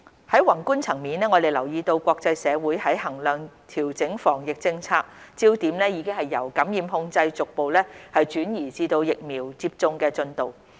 在宏觀層面，我們留意到國際社會在衡量調整防疫政策時，焦點已由感染控制逐步轉移至疫苗接種的進度。